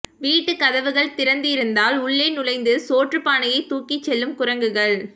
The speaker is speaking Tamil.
வீட்டுக் கதவுகள் திறந்திருந்ததால் உள்ளே நுழைந்து சோற்றுப் பானையை தூக்கிச் செல்லும் குரங்குகள்